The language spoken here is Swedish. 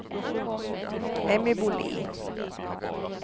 Emmy Bolin